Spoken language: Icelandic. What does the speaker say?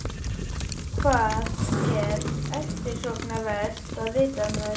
Hvað er eftirsóknarvert að vita um þær?